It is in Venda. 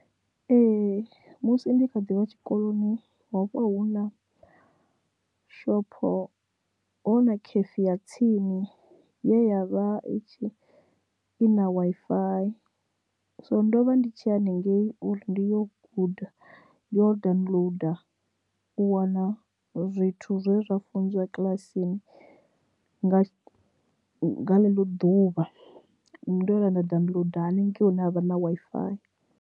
Ee musi ndi kha ḓivha tshikoloni ho vha huna shopho ho na khifi ya tsini ye yavha i tshi i na Wi-Fi so ndovha ndi tshi ya haningei uri ndi yo guda ndi yo downloader u wana zwithu zwe zwa funziwa kilasini nga nga ḽo ḓuvha ndo vhuya nda wo ḓi haningei hune ha vha na Wi-Fi.